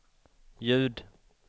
ljud